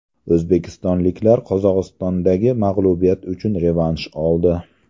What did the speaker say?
O‘zbekistonliklar Qozog‘istondagi mag‘lubiyat uchun revansh oldi.